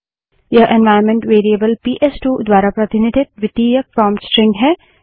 यह environment variable PS two द्वारा प्रतिनिधित द्वितीयक प्रोंप्ट स्ट्रिंग है